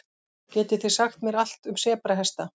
Getið þið sagt mér allt um sebrahesta?